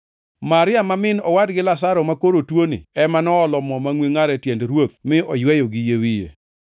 Maria-ni ma owadgi Lazaro makoro tuoni ema noolo mo mangʼwe ngʼar e tiend Ruoth mi oyweyo gi yie wiye.